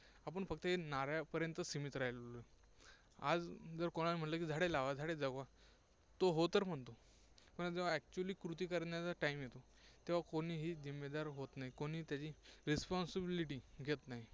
आपण फक्त हे नाऱ्या पर्यंतच सीमित राहिलो. आज जर कोणाला म्हंटल की, झाडे लावा, झाडे जगवा, तो हो तर म्हणतो. पण जेव्हा actually कृती करण्याचा time येतो, तेव्हा कोणीही जिम्मेदार होत नाही, कोणीही त्याची responsibility घेत नाही